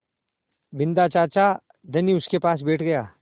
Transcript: बिन्दा चाचा धनी उनके पास बैठ गया